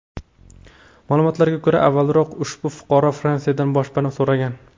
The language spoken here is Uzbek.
Ma’lumotlarga ko‘ra, avvalroq ushbu fuqaro Fransiyadan boshpana so‘ragan.